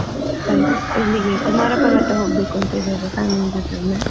Like ಇಲ್ಲಿಗೆ ಕುಮಾರ ಪರ್ವತಾ ಹೋಗ್ಬೇಕು ಅಂತ ಇದ್ದೇವೆ, family ಜೊತೆ ಒಮ್ಮೆ.